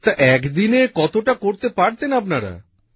তা এক দিনে কতটা করতে পারতেন আপনারা